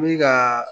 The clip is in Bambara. Mi gaa